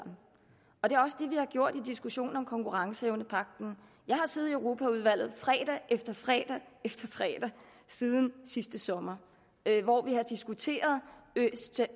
vi har gjort i diskussionen om konkurrenceevnepagten jeg har siddet i europaudvalget fredag efter fredag siden sidste sommer hvor vi har diskuteret